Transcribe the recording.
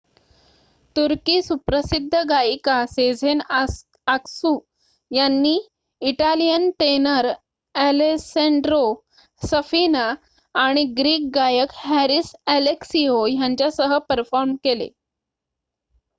तुर्की सुप्रसिद्ध गायिका Sezen Aksu यांनी इटालियन टेनर ॲलेसँड्रो सफिना आणि ग्रीक गायक हॅरिस ॲलेक्सिओ यांच्यासह परफॉर्म केले